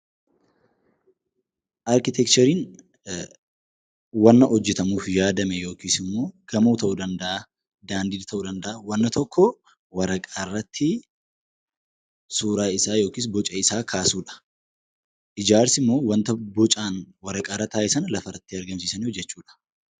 Arkiteekchariin wanna hojjetamuuf yaadame yookiis immoo gamoo ta'uu danda'aa, daandii ta'uu danda'aa, wanna tokko waraqaa irratti suura isaa yookiin boca isaa kaasuu dha. Ijaarsi immoo wanta bocaan waraqaa irra taa'e sana lafa irratti argamsiisanii hojjeechuu dha.